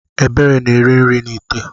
Ebere na-eri nri n’ite